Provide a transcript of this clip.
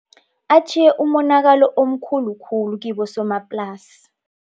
Atjhiye umonakalo omkhulu khulu kibosomaplasi.